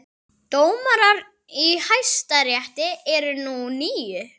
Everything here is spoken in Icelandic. Dómarar í Hæstarétti eru nú níu